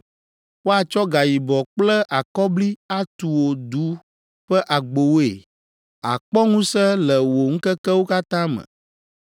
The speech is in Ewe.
Woatsɔ gayibɔ kple akɔbli atu wò du ƒe agbowoe àkpɔ ŋusẽ le wò ŋkekewo katã me!